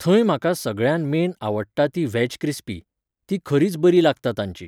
थंय म्हाका सगळ्यांत मेन आवडटा ती व्हॅज क्रिस्पी, ती खरीच बरी लागता तांची.